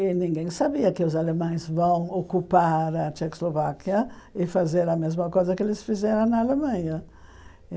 E ninguém sabia que os alemães vão ocupar a Tchecoslováquia e fazer a mesma coisa que eles fizeram na Alemanha.